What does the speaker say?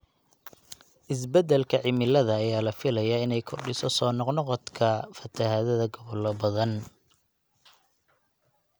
Isbeddelka cimilada ayaa la filayaa inay kordhiso soo noqnoqda fatahaadda gobollo badan.